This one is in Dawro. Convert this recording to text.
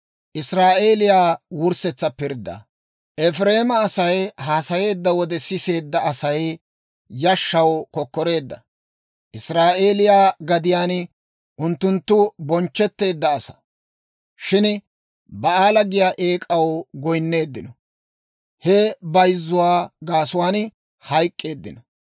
Efireema Asay haasayeedda wode, siseedda Asay yashshaw kokkoreedda; Israa'eeliyaa gadiyaan unttunttu bonchchetteedda asaa. Shin Ba'aala giyaa eek'aw goyinneeddino; he bayzzuwaa gaasuwaan hayk'k'eeddino.